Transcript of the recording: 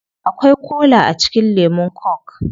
Akwai kola a cikin lemun coke